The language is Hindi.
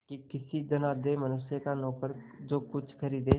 कि किसी धनाढ़य मनुष्य का नौकर जो कुछ खरीदे